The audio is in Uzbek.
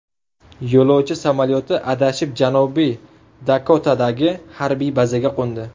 Yo‘lovchi samolyoti adashib Janubiy Dakotadagi harbiy bazaga qo‘ndi.